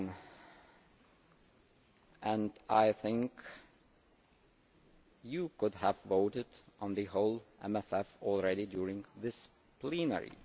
9. You could have voted on the whole MFF during this plenary.